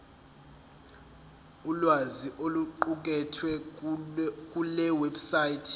ulwazi oluqukethwe kulewebsite